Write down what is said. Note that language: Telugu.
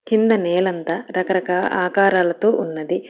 కింద నేలంతా రకరకా ఆకారాలతో ఉన్నది.